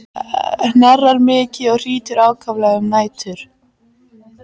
Hnerrar mikið og hrýtur ákaflega um nætur.